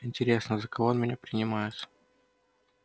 интересно за кого он меня принимает